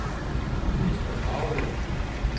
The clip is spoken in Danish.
Esther Kragelund